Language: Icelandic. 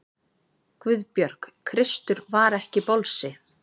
GUÐBJÖRG: Kristur var ekki bolsi!